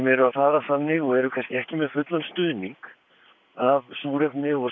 eru að fara þannig og eru kannski ekki með fullan stuðning af súrefni og